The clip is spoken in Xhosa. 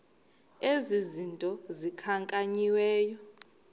ezi zinto zikhankanyiweyo